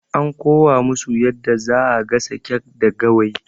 An kowa musu yadda zaa gasa kek da Gawayi